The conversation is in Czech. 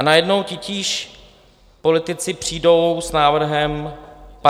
A najednou titíž politici přijdou s návrhem 58 dnů.